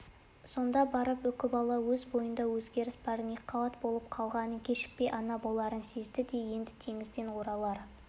сонда барып үкібала өз бойында өзгеріс барын екіқабат болып қалғанын кешікпей ана боларын сезді де енді теңізден оралар